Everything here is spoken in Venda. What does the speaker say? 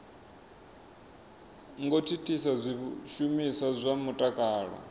ngo thithisa zwishumiswa zwa mutakalo